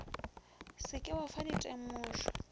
se ke wa fa ditemošo